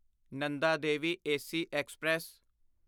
Nanda Devi AC express